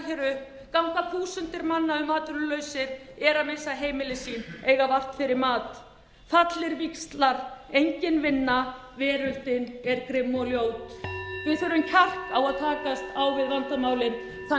hér upp ganga þúsundir manna um atvinnulausir eru að missa heimili sín eiga vart fyrir mat fallnir víxlar engin vinna veröldin er grimm og ljót við þurfum kjark að